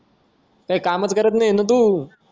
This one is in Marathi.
काही कामाच करत नाही ना रे तू